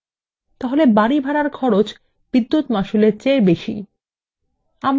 বাড়ি ভাড়ার খরচ বিদ্যুৎ মাশুল এর চেয়ে বেশী